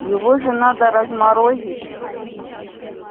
его же надо разморозить